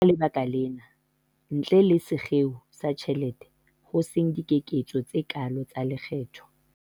Ke ka lebaka lena, ntle le sekgeo sa ditjhelete, ho seng dikeketso tse kaalo tsa lekgetho.